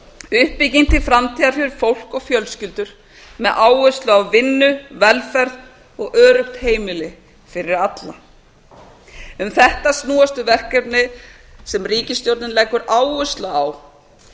uppbygging til framtíðar fyrir fólk og fjölskyldur með áherslu á vinnu velferð og öruggt heimili fyrir alla um þetta snúast þau verkefni sem ríkisstjórnin leggur áherslu á